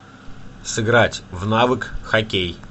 сыграть в навык хоккей